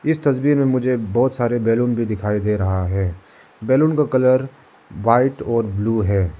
इस तस्वीर में मुझे बहोत सारे बैलून भी दिखाई दे रहा है बैलून का कलर व्हाइट और ब्लू है।